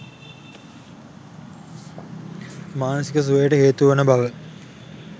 මානසික සුවයට හේතු වන බව